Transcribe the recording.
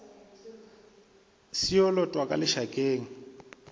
se yo lotwa ka lešakeng